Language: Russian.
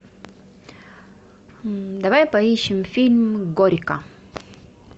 давай поищем фильм горько